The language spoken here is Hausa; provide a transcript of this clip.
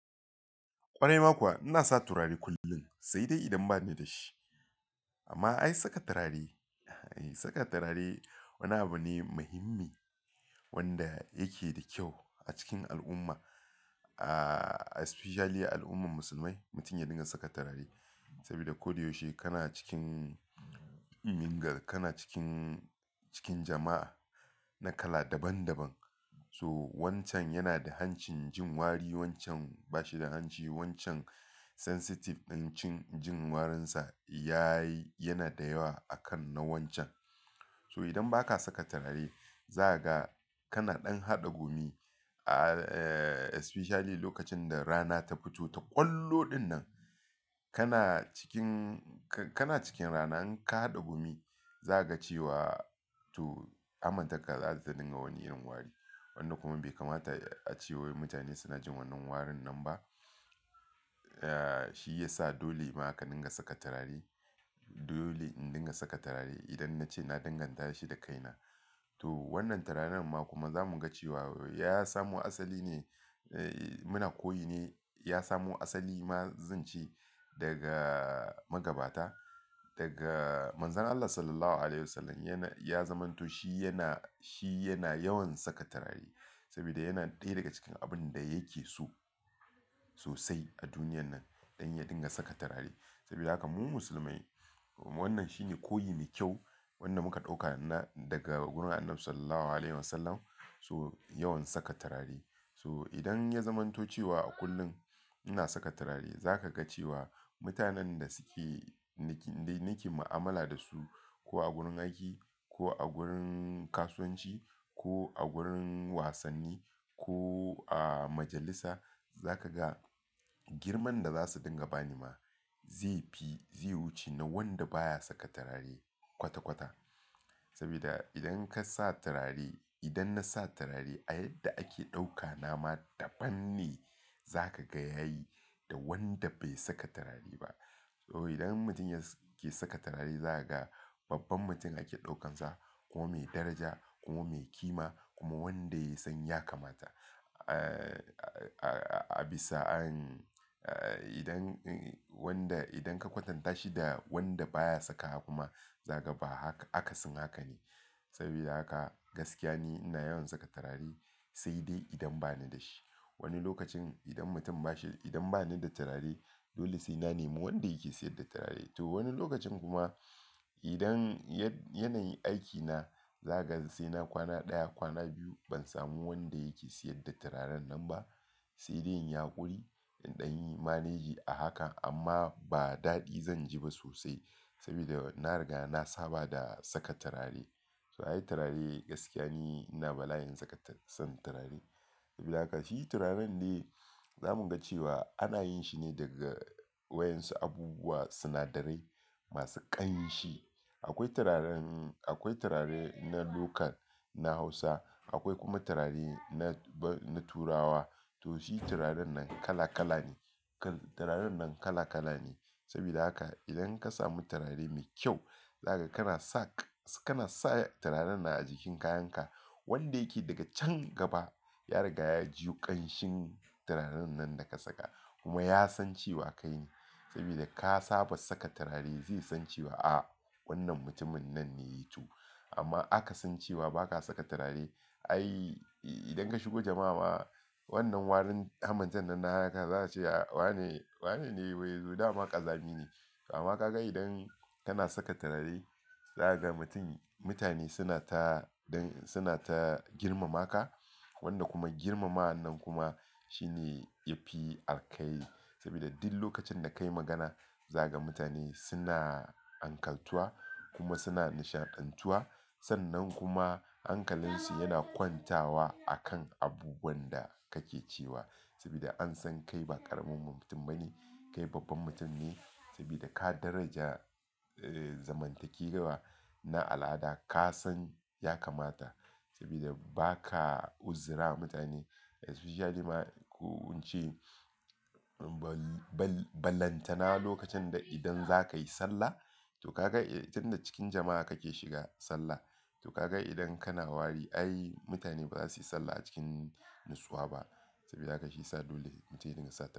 Kwarai ma kuwa ina sa turare kullum, sai dai idan ba ni da shi. Amma ai saka turare, ai saka turare wani abu ne muhimmi wanda yake da kyau a cikin al'umma. A-- especially al'ummar musulmai, mutum ya dinga saka turare. Sabida ko da yaushe kana cikin ingar, kana cikin, cikin jama'a na kala daban daban. So wancan yana da hancin jin wari, wancan ba shi da hanci, wancan sensitive ɗan cin jin warinsa ya yi, yana da yawa a kan na wancan. So idan ba ka saka turare, za ka ga kana ɗan haɗa gumi. A-- especially lokacin da rana ta fito ta ƙwallo ɗin nan, kana cikin, ka-kana cikin rana in ka haɗa gumi, za ka ga cewa to amintakar za su dinga wani irin wari. Wanda kuma bai kamata a cewa mutane suna jin wannan warin nan ba. Ya, shi ya sa dole ma aka dinga saka turare. Dole in dinga saka turare idan na ce na danganta shi da kaina. To wannan turaren ma kuma za mu ga cewa ya samo asali ne, muna koyi ne. Ya samo asali ma zan ce daga magabata, daga Manzon Allah Sallallahu Alaihi Wasallam. Ya na, ya zamanto shi yana, shi yana yawan saka turare sabida yana ɗaya daga cikin abun da ya ke so sosai a duniyar nan ɗan ya dinga saka turare. Sabida haka mu musulmai wannan shi ne koyin kyau wanda muka ɗauka na, daga gurin Annabi Sallallahu Alaihi Wasallam. So yawan saka turare. So idan ya zamanto cewa a kullum ina saka turare, za ka ga cewa mutanen da suke niki, dai niki mu'amala da su ko a gurin aiki, ko a gurin kasuwanci, ko a gurin wasanni, ko a majalisa, za ka ga girman da za su dinga bani ma zai fi, zai wuce na wanda baya saka turare kwata kwata. Sabida idan ka sa turare, idan na sa turare a yadda ake ɗaukana ma daban ne za ka ga yayi da wanda bai saka turare ba. So idan mutum yake saka turare za ka ga babban mutum ake ɗaukansa, kuma mai daraja kuma mai kima kuma wanda ya san ya kamata. A, a, a bisa'an, idan wanda, idan ka kwatanta shi da wanda baya saka kuma za ka ga ba haka, akasin haka ne. Sabida haka gaskiya ne ina yawan saka turare sai dai idan ba ni da shi. Wani lokacin idan mutum ba shi, idan ba ni da turare, dole sai na nemi wanda yake siyar da turare. To wani lokacin kuma idan ya, yana yin aikina, za ka ga sai na kwana ɗaya, kwana biyu ban samu wanda yake siyar da turaren nan ba. Sai dai in yaƙuri in ɗan yi manage a haka amma ba daɗi zan ji ba sosai sabida na riga na saba da saka turare. So ai turare gaskiya ne ina bala'in saka, son turare. Shi turaren ne za mu ga cewa ana yin shi ne daga wayan su abubuwa sinadarai masu ƙanshi. Akwai turaren, akwai turare na local na Hausa, akwai kuma turare na, na Turawa. To shi turaren nan kala kala ne. Turaren nan kala kala ne. Sabida haka idan ka samu turare mai kyau, za ka, kana sa, kana sa turaren na a jikin kayanka wanda yake daga can gaba ya riga ya ji ƙanshin turaren nan da ka saka kuma ya san cewa kai ne. Sabida ka saba saka turare zai san cewa, a wannan mutumin nan ne tu. Amma aka san cewa ba ka saka turare, ai idan ka shigo jama'a ma wannan warin hamatar nan na haka za su ce, wane, wane ne wai? Zuɗa ma ƙazami ne. Amma ka ga idan kana saka turare za ka ga mutum, mutane suna ta don, suna ta girmama ka wanda kuma girmama'an nan kuma shi ne ya fi arkaye. Sabida duk lokacin da ka yi magana za ka ga mutane suna ankantuwa kuma suna nishadantuwa. Sannan kuma hankalinsu yana kwantawa a kan abubuwan da kake cewa sabida an san kai ba ƙarammomin mutum ba ne, kai babban mutum ne. Sabida ka daraja, zamantakewa na al'ada ka san ya kamata sabida ba ka uzira mutane. Especially ma kun ce ball, ballantana lokacin da idan za ka yi sallah, to ka ga idan da cikin jama'a kake shiga sallah, to ka ga idan kana wari ai mutane ba za su yi sallah a cikin nutsuwa ba. Sabida haka shi sa dole mutum ya dinga saka turare.